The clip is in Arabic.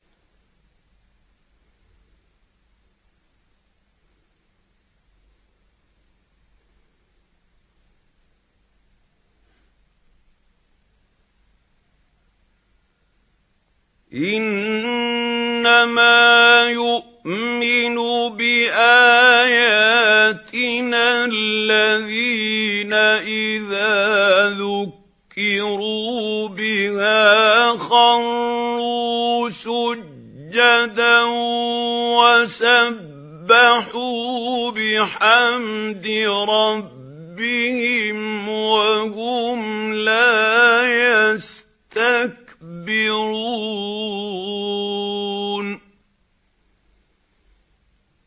إِنَّمَا يُؤْمِنُ بِآيَاتِنَا الَّذِينَ إِذَا ذُكِّرُوا بِهَا خَرُّوا سُجَّدًا وَسَبَّحُوا بِحَمْدِ رَبِّهِمْ وَهُمْ لَا يَسْتَكْبِرُونَ ۩